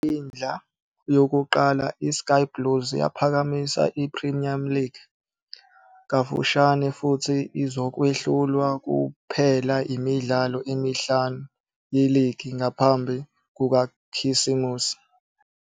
Ngekwindla yokuqala iSky Blues yaphakamisa i-Premier League kafushane futhi izokwehlulwa kuphela imidlalo emihlanu yeligi ngaphambi kukaKhisimusi.